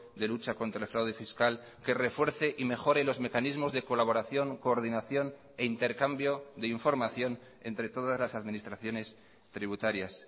de lucha contra el fraude fiscal que refuerce y mejore los mecanismos de colaboración coordinación e intercambio de información entre todas las administraciones tributarias